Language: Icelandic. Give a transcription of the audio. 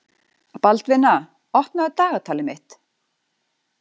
Baldvina, opnaðu dagatalið mitt.